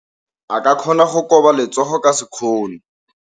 O ka kgona go koba letsogo ka sekgono.